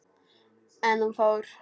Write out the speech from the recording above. En hún fór.